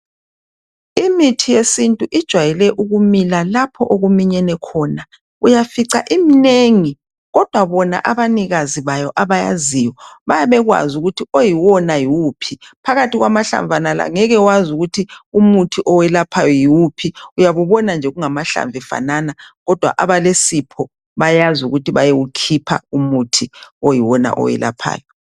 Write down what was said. Imithi yesintu ijwayele ukumila lapho okuminyene khona. Uyafica iminengi kodwa bona abanikazi bayo abayaziyo, babekwazi ukuthi oyiwona yiwuphi. Phakathi kwamahlamvu angeke wazi ukuthi umuthi owelaphayo yiwuphi, uyabe ubona nje kungamahlamvu efanana kodwa abalesipho bayazi ukuthi bayewukhipha umuthi oyiwona owelaphayo.